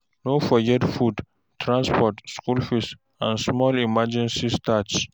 No forget food, transport, school fees and small emergency stash.